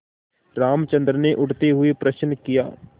रामचंद्र ने उठते हुए प्रश्न किया